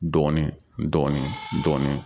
Dɔɔnin dɔɔnin dɔɔnin